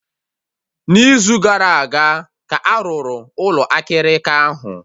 N'izu gara aga ka a rụrụ Ụlọ akịrịka ahụ